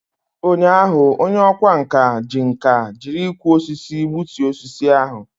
Ụnyaahụ, onye ọkwá nkà ji nkà jiri ịkwọ osisi gbutuo osisi ahụ.